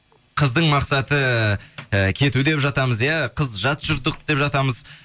қыздың мақсаты ы кету деп жатамыз иә қыз жат жұрттық деп жатамыз